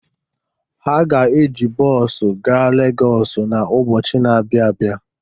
Ha ga-eji bọọsụ gaa Legọsị n'ụbọchị na-abịa abịa.